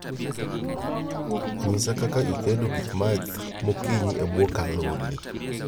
nyisa kaka itendo gik math magokiny e bwo kalori